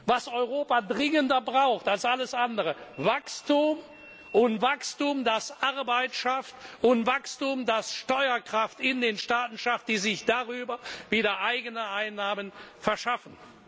was Europa dringender braucht als alles andere Wachstum! Wachstum, das Arbeit schafft, und Wachstum, das Steuerkraft in den Staaten schafft, die sich darüber wieder eigene Einnahmen verschaffen!